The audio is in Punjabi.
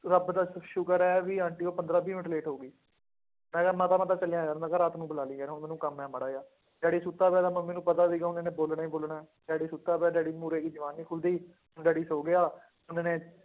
ਰੱਬ ਦਾ ਸ਼ੁਕਰ ਹੈ ਵੀ ਆਂਟੀ ਹੋਈ ਪੰਦਰਾਂ ਵੀਹ ਮਿੰਟ late ਹੋ ਗਈ, ਮੈਂ ਕਿਹਾ ਮਾਤਾ ਮੈਂ ਤਾਂ ਚੱਲਿਆ ਯਾਰ ਮੈਂ ਕਿਹਾ ਰਾਤ ਨੂੰ ਬੁਲਾ ਲਈ ਯਾਰ ਹੁਣ ਮੈਨੂੰ ਕੰਮ ਹੈ ਮਾੜਾ ਜਿਹਾ ਡੈਡੀ, ਸੁੱਤਾ ਪਿਆ ਤਾਂ ਮੰਮੀ ਨੂੰ ਪਤਾ ਸੀਗਾ ਹੁਣ ਇਹਨੇ ਬੋਲਣਾ ਹੀ ਬੋਲਣਾ ਹੈ, ਡੈਡੀ ਸੁੱਤਾ ਪਿਆ ਡੈਡੀ ਮੂਹਰੇ ਇਹਦੀ ਜ਼ੁਬਾਨ ਨੀ ਖੁੱਲਦੀ, ਡੈਡੀ ਸੌਂ ਗਿਆ,